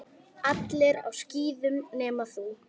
Allir á skíðum nema þú.